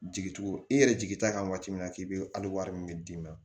Jigi tugu i yɛrɛ jigi t'a kan waati min na k'i be hali wari min d'i ma